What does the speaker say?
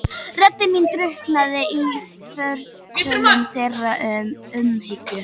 Rödd mín drukknaði í fortölum þeirra og umhyggju.